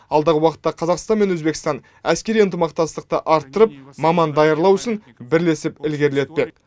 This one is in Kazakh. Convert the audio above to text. алдағы уақытта қазақстан мен өзбекстан әскери ынтымақтастықты арттырып маман даярлау ісін бірлесіп ілгерілетпек